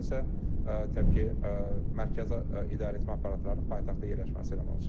Digər tərəfdən isə təbii ki, mərkəzi idarəetmə aparatlarının paytaxtda yerləşməsi yaranır.